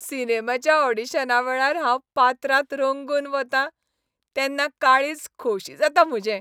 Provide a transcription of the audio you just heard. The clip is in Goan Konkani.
सिनेमाच्या ऑडीशनावेळार हांव पात्रांत रंगून वतां तेन्ना काळीज खोशी जाता म्हजें.